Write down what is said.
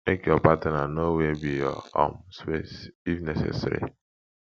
make your partner know where be your um space if necessary